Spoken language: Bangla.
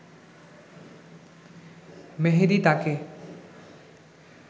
মেহেদী তাকে